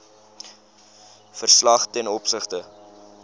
verslag ten opsigte